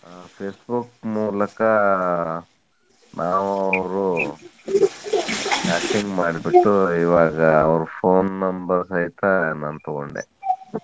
Facebook ಮೂಲಕ ನಾವು ಅವ್ರು chatting ಮಾಡಿಬಿಟ್ಟು ಇವಾಗ ಅವರ್ phone number ಸಹಿತಾ ನಾನ್ ತೊಗೊಂಡೆ.